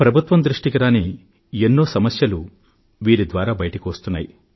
ప్రభుత్వం దృష్టికి రాని ఎన్నో సమస్యలు కూడా ఒక్కొక్కసారి వీరి ద్వారా బయటకు వస్తున్నాయి